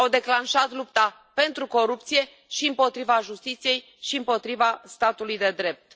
Au declanșat lupta pentru corupție și împotriva justiției și împotriva statului de drept.